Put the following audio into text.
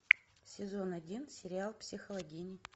сезон один сериал психологини